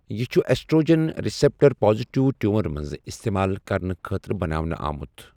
یہٕ چھُ oestrogen receptor positive tumour منٛز استعمال کرنہٕ خٲطرٕ بناونہٕ آمُت۔